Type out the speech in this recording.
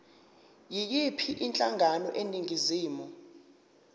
yiyiphi inhlangano eningizimu